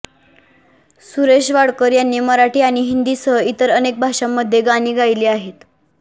सुरेश वाडकर यांनी मराठी आणि हिंदीसह इतर अनेक भाषांमध्ये गाणी गायली आहेत